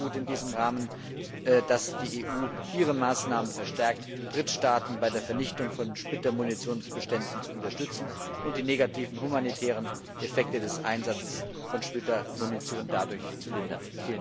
Es ist in diesem Rahmen auch gut, dass die EU ihre Maßnahmen verstärkt, Drittstaaten bei der Vernichtung von Splittermunitionsbeständen zu unterstützen und die negativen humanitären Effekte des Einsatzes von Splittermunition dadurch zu lindern.